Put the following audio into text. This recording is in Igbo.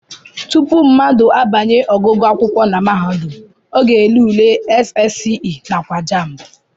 Tupu mmadụ abanye ọgụgụ akwụkwọ na mahadum, ọ na-ele ule SSCE nakwa JAMB